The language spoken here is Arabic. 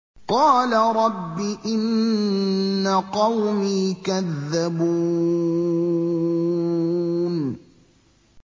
قَالَ رَبِّ إِنَّ قَوْمِي كَذَّبُونِ